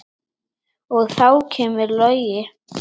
Og þá kemur Logi.